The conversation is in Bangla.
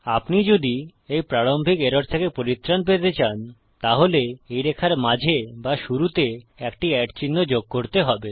আপনি যদি এই প্রারম্ভিক এরর থেকে পরিত্রাণ পেতে চান তাহলে এই রেখার মাঝে বা শুরুতে একটি চিহ্ন যোগ করতে হবে